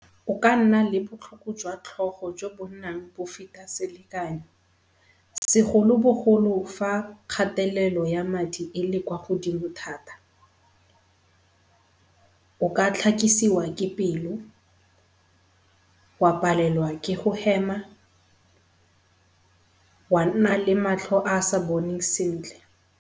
O ka nna le botlhoko jo bonnang bp feta selekanyo, segolobogolo fa kgatelelo ya madi e le kwa godimo thata. O ka tlhakisiwa ke pelo, wa palelwa ke go hema, wa nna le matlho a a sa boneng sentle.